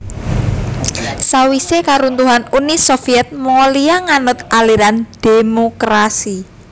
Sawisé karuntuhan Uni Soviet Mongolia nganut aliran dhémokrasi